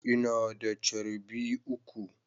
Ina da charbi uku.